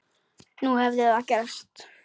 Nú hafði það gerst.